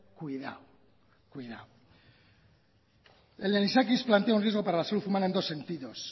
cuidado el anisakis plantea un riesgo para la salud humana en dos sentido a